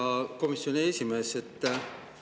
Hea komisjoni esimees!